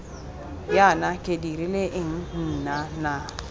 jaana ke dirile eng nnana